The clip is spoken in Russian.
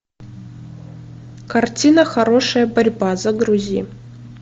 картина хорошая борьба загрузи